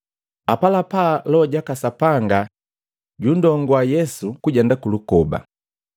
Apalapala Loho jaka Sapanga junndongua Yesu kujenda kulukoba,